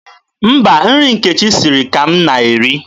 Mba, nri nke Nkechi siri ka m na-eri.